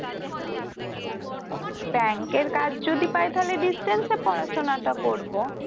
ব্যাংকের কাজ যদি তাই তাহলে distance পড়াশুনা টা করব।